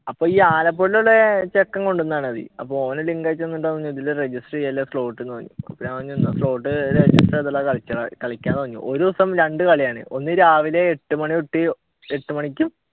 അപ്പൊ ഈ ആലപ്പുഴയിൽ ഉള്ള ചെക്കൻ കൊണ്ടുവന്നതാണത് അപ്പൊ ഓൻ ലിങ്ക് അയച്ചു തന്നിട്ട് പറഞ്ഞു ഇതിൽ register ചെയല slot എന്ന് പറഞ്ഞു ഒരു ദിവസം രണ്ടു കളിയാണ് ഒന്ന് രാവിലെ എട്ടു മണി തൊട്ട്